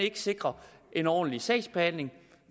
sikre en ordentlig sagsbehandling at